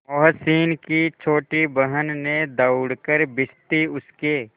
मोहसिन की छोटी बहन ने दौड़कर भिश्ती उसके